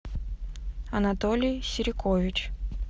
анатолий серикович